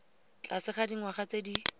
tlase ga dingwaga tse di